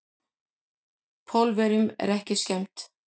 Pólverjunum er ekki skemmt.